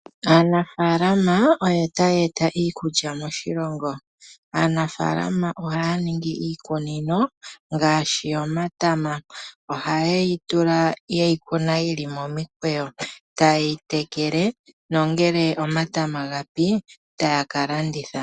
Aanafalama oyo taya eta iikulya moshilongo. Aanafalama ohaa ningi iikunino ngaashi yomatama. Ohaye yi tula ye yi kuna yi li momukweyo, taye yi tekele nongele omatama gapi ta ya ka landitha.